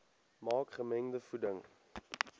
maak gemengde voeding